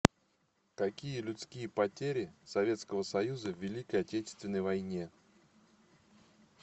какие людские потери советского союза в великой отечественной войне